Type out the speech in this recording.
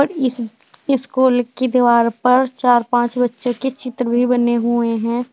इस इस स्कूल की दीवार पर चार पांच बच्चों की चित्र भी बने हुए हैं।